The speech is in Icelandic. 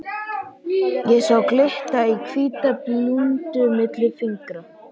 Ég sá glitta í hvíta blúndu milli fingra.